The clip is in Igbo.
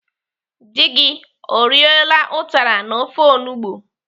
Dị gị o riela ụtara na ofe olugbo?